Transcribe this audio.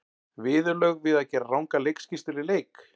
Viðurlög við að gera rangar leikskýrslur í leik?